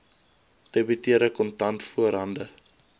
debiteure kontant voorhande